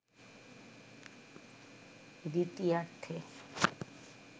দ্বিতীয়ার্ধে